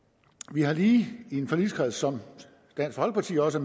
vi har lige i en forligskreds som dansk folkeparti også